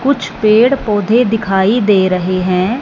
कुछ पेड़-पौधे दिखाई दे रहे हैं।